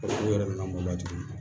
N'u yɛrɛ nana mɔda tuguni